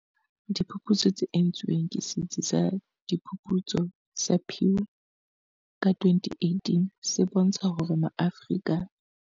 Diphuputso tse entsweng ke Setsi sa Diphuputso sa Pew ka 2018 se bontsha hore Maafrika.